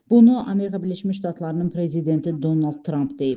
Bunu Amerika Birləşmiş Ştatlarının prezidenti Donald Trump deyib.